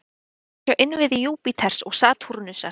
Hér má sjá innviði Júpíters og Satúrnusar.